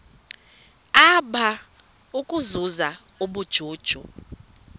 apha ukuzuza ubujuju